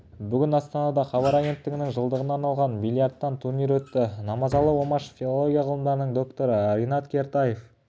бүгін астанада хабар агенттігінің жылдығына арналған бильярдтан турнирі өтті намазалы омашев филология ғылымдарының докторы ринат кертаев